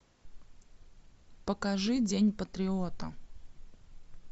покажи день патриота